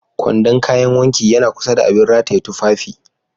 Kwandon kayan wanki yana kusa da abin rataye tufafi